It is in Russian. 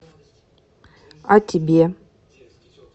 а тебе